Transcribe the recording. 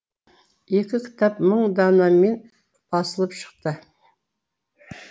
екі кітап мың данамен басылып шықты